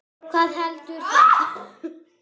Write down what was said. Hvað heldur það?